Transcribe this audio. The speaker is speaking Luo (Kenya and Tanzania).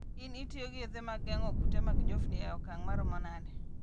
In itiyo gi yedhe mag geng'o kute mag njofni e okang' maromo nade?